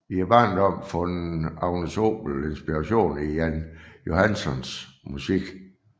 I barndommen fandt Agnes Obel inspiration i Jan Johanssons musik